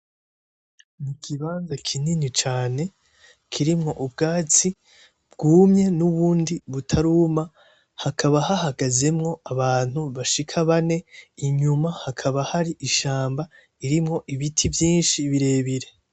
Ikibanza kinini cane kirimwo ubwatsi bwumye nubundi butaruma, hakaba hahagazemwo abantu bashika bane, inyuma hakaba hari ishamba irimwo ibiti vyinshi birebire.